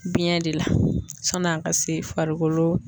Biɲɛ de la sani a ka se farikolo.